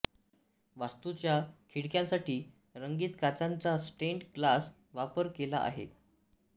वास्तूच्या खिडक्यांसाठी रंगीत काचांचा स्टेन्ड ग्लास वापर केला आहे